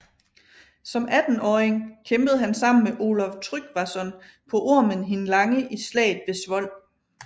Som attenåring kæmpede han sammen med Olav Tryggvason på Ormen hin Lange i slaget ved Svold